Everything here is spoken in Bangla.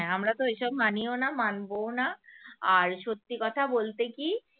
হ্যাঁ আমরা তো এইসব মানিও না মানবোও না আর সত্যি কথা বলতে কি